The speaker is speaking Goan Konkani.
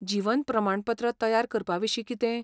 जीवन प्रमाणपत्र तयार करपाविशीं कितें?